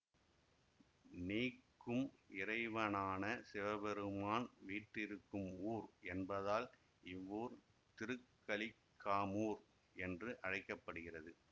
நீக்கும் இறைவனான சிவபெருமான் வீற்றிருக்கும் ஊர் என்பதால் இவ்வூர் திருக்கலிக்காமூர் என்று அழைக்க படுகிறது